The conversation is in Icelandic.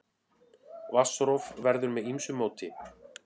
Vatnsrof verður með ýmsu móti.